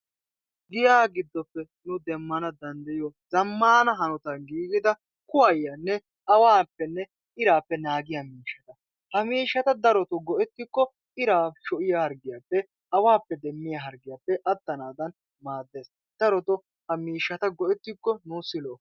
Giyaba giddoppe nu demmana dandayiyo zammaana hanotan giigida kuwayiyanne awaappenne iraappe naagiya miishata. Ha miishshata daroto go'ettikko iraa sho'iya hargiyaappe awaappe demmiya hargiyaappe attanaadan maaddes. Daroto ha miishshata go'ettikko nuusi lo"o.